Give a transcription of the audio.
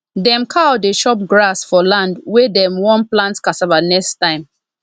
dem cow dey chop grass for land wey dem wan plant cassava next time